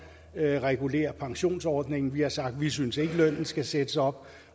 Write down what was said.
og reguler pensionsordningen vi har sagt at vi ikke synes lønnen skal sættes op